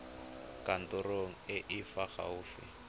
kantorong e e fa gaufi